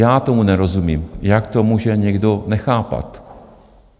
Já tomu nerozumím, jak to může někdo nechápat.